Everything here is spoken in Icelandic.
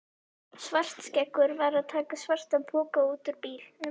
Svartskeggur var að taka svartan poka út úr bílnum.